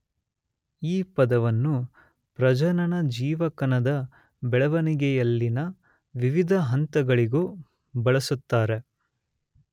ಈ ಪದವನ್ನು ಪ್ರಜನನಜೀವಕಣದ ಬೆಳೆವಣಿಗೆಯಲ್ಲಿನ ವಿವಿಧ ಹಂತಗಳಿಗೂ ಬಳಸುತ್ತಾರೆ.